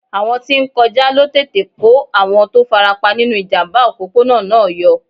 Àwọn tí ń kọjá ló tètè kó àwọn tó farapa nínú ìjàmbá òpópónà náà yọ.